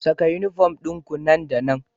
Saka uniform ɗinku nan da nan